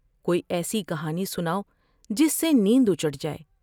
کوئی ایسی کہانی سناؤ جس سے نیندا چیٹ جاۓ ۔